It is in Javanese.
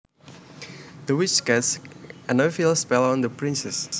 The witch cast an evil spell on the princess